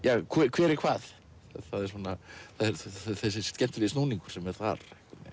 hver er hvað þessi skemmtilegi snúningur sem er þar